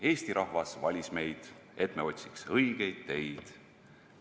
Eesti rahvas valis meid, et me otsiks õigeid teid.